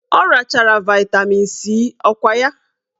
Ọ rachara vaịtamin C ọkwa ya?